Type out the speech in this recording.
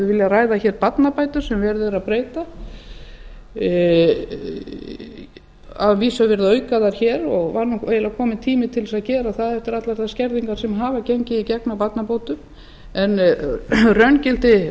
viljað ræða hér barnabætur sem verið er að breyta að vísu er verið að auka þær hér og var eiginlega kominn tími til þess að gera það eftir allar þær skerðingar sem hafa gengið í gegn á barnabótum en raungildi